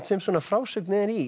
sem svona frásögn er í